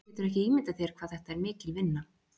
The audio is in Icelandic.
Þú getur ekki ímyndað þér hvað þetta er mikil vinna.